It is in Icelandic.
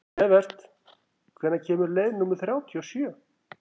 Evert, hvenær kemur leið númer þrjátíu og sjö?